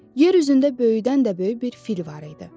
Yer üzündə böyüdən də böyük bir fil var idi.